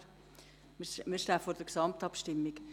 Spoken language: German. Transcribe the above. Wir stehen vor der Gesamtabstimmung.